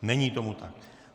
Není tomu tak.